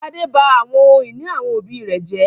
Gbadé ba àwọn ohun-ìní àwọn òbí rẹ̀ jẹ́?